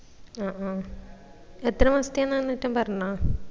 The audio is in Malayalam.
ആ അഹ് എത്ര മാസത്തെ ആന്നാട്ടം പറഞ്ഞിന